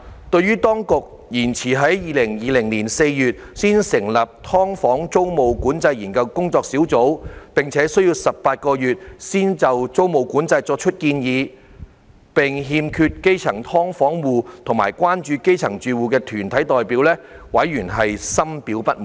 對於當局遲至2020年4月才成立的"劏房"租務管制研究工作小組，並需要18個月才就租務管制作出建議，並欠缺基層"劏房戶"及關注基層住屋團體的代表，委員深表不滿。